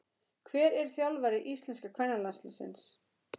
Hver er þjálfari íslenska kvennalandsliðsins?